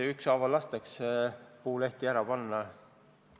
Ükshaaval lastakse puulehti ära panna.